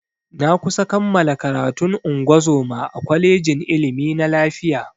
Na kusa kammala karatun ungozoma a kwalejin ilimi na lafiya.